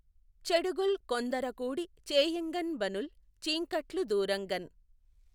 చెడుగుల్ కొందఱకూడి చేయఁగఁబనుల్ చీఁకట్లు దూఱఁగఁ